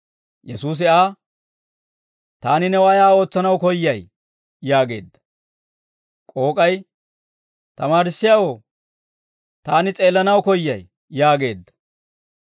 Yesuusi Aa, «Taani new ayaa ootsanaw koyyay?» yaageedda. K'ook'ay, «Tamaarissiyaawoo, taani s'eellanawaa koyyay» yaageedda.